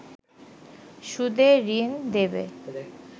সুদে ঋণ দেবে